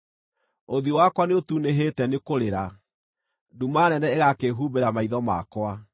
Ũthiũ wakwa nĩũtunĩhĩte nĩkũrĩra, nduma nene ĩgakĩhumbĩra maitho makwa;